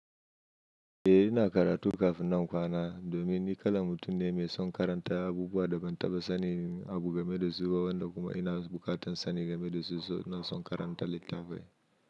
Eh ina karatu kafin nan kwana domin ni kalan mutum ne mai son karanta abubuwa da ban taɓa sani a guga me da su ba wanda kuma ina bukatan sani game da su saboda in son karanta littafai.